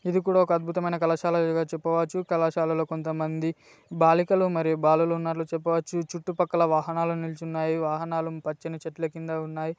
ఇది కూడా ఒక అద్బుతమైన కళాశాల అని చెప్పవచ్చు కళాశాలలో కొంతమంది బాలికలు మరియు బాలులు ఉన్నట్టు చెప్పవచ్చు చుట్టుపక్కల వాహనాలు నిలిచి ఉన్నాయి వాహనాలు పచ్చటి చెట్ల కింద ఉన్నాయి.